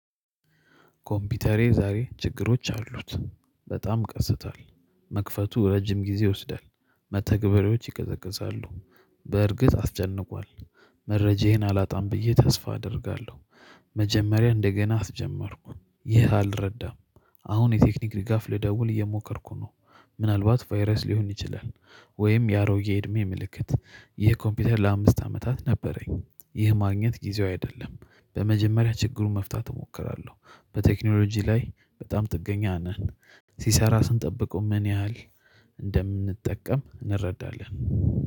ኮምፒውተሬ ዛሬ ችግሮች አሉት በጣም ቀስቷል። መክፈቱ ረጅም ጊዜ ይወስዳል መተግበሬዎች ይቀዘቅዛሉ። በእርግጥ አስጨንቋል። መረጃዬን አላጣም ብዬ ተስፋ አደርጋለሁ። መጀመሪያ እንደገና አስጀመርኩ። ይህ አልረዳም። አሁን የቴክኒክ ሪጋፍ ልደውል እየሞከርኩ ነው። ምናልባት ቫይረስ ሊሆን ይችላል። ወይም የአሮጌ እድሜ ምልክት። ይህ ኮምፒውተር ለአምስት አመታት ነበረኝ። ይህ ማግኘት ጊዜው አይደለም። በመጀመሪያ ችግሩን መፍታት እሞክራለሁ። በቴክኖሎጂ ላይ በጣም ጥገኛ ነን። ሲሰራ ስንጠብቀው ምን ያህል? እንደምንጠቀም እንረዳለን